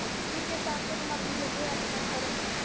ठीके. चालतयं मग. भेटूया आपण लवकरच.